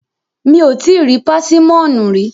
Mi ò tíì rí pásímọ̀nù rí.